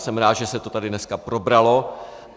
Jsem rád, že se to tady dneska probralo.